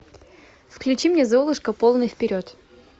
включи мне золушка полный вперед